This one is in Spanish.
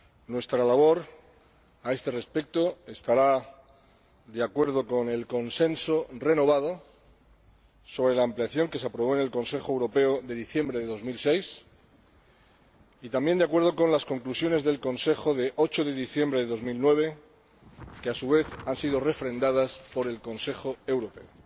Nuestra labor a este respecto se desarrollará de acuerdo con el consenso renovado sobre la ampliación que se aprobó en el Consejo Europeo de diciembre de 2006 y, también, de acuerdo con las conclusiones del Consejo de 8 de diciembre de 2009, que, a su vez, han sido refrendadas por el Consejo Europeo.